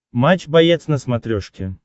матч боец на смотрешке